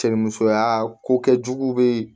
Cɛ ni musoya ko kɛ jugu bɛ